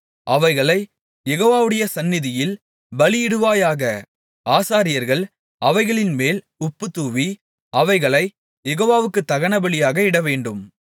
அவைகளைக் யெகோவாவுடைய சந்நிதியில் பலியிடுவாயாக ஆசாரியர்கள் அவைகளின்மேல் உப்பு தூவி அவைகளைக் யெகோவாவுக்கு தகனபலியாக இடவேண்டும்